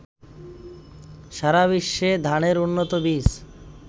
সারাবিশ্বে ধানের উন্নত বীজ